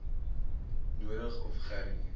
nodig of gerie